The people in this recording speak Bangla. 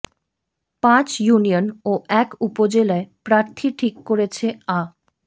পাঁচ ইউনিয়ন ও এক উপজেলায় প্রার্থী ঠিক করেছে আ